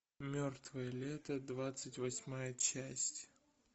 мертвое лето двадцать восьмая часть